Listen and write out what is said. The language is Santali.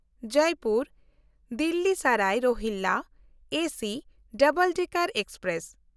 Jaipur-Delhi Sarai Rohilla AC double decker express